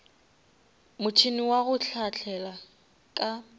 motšhene wa go hlahlela ka